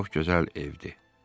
Çox gözəl evdir.